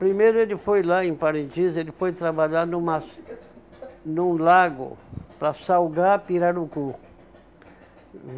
Primeiro ele foi lá em Parintins, ele foi trabalhar numa num lago para salgar pirarucu.